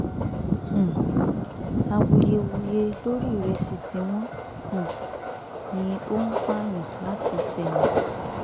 um awuyewuye lórí ìrẹsì tí wọ́n um ní ó ń pààyàn láti ṣémè